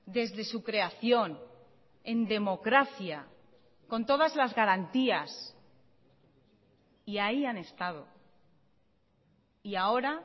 desde su creación en democracia con todas las garantías y ahí han estado y ahora